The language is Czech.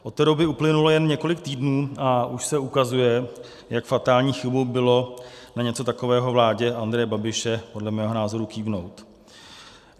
- Od té doby uplynulo jen několik týdnů a už se ukazuje, jak fatální chybou bylo na něco takového vládě Andreje Babiše podle mého názoru kývnout.